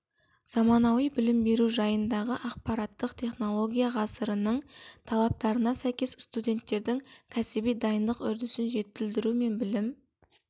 заманауи білім беру жағдайындағы ақпараттық технология ғасырының талаптарына сәйкес студенттердің кәсіби дайындық үрдісін жетілдіру мен білім